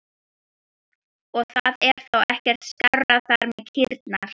Og það er þá ekkert skárra þar með kýrnar?